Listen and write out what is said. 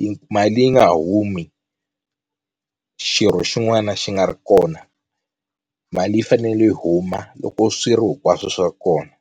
yi mali yi nga humi xirho xin'wana xi nga ri kona mali yi fanele yi huma loko swirho hinkwaswo swi ri kona.